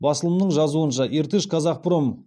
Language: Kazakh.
басылымның жазуынша иртыш казхпром